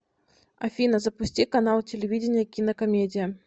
афина запусти канал телевидения кинокомедия